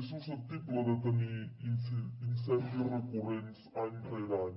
és susceptible de tenir incendis recurrents any rere any